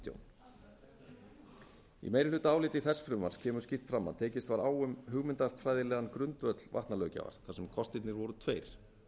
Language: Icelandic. í meirihlutaáliti þess frumvarps kemur skýrt fram að tekist var á um hugmyndafræðilegan grundvöll vatnalöggjafar þar sem kostirnir voru tveir